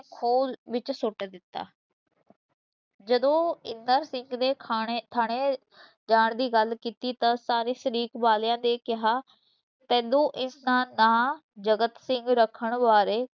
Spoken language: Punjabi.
ਖੂਹ ਵਿਚ ਸੁੱਟ ਦਿੱਤਾ ਜਦੋਂ ਇੰਦਰ ਸਿੰਘ ਨੇ ਖਾਣੇ ਥਾਣੇ ਜਾਣ ਦੀ ਗੱਲ ਕੀਤੀ ਤਾਂ ਸਾਰੇ ਸ਼ਰੀਕ ਵਾਲਿਆਂ ਨੇ ਕਿਹਾ, ਤੈਨੂੰ ਇਸ ਦਾ ਨਾਂ ਜਗਤ ਸਿੰਘ ਰੱਖਣ ਬਾਰੇ